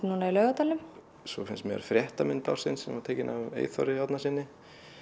núna í Laugardalnum svo finnst mér fréttamynd ársins sem var tekin af Eyþóri Árnasyni